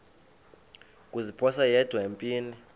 kuziphosa yedwa empini